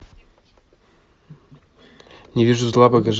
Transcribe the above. не вижу зла покажи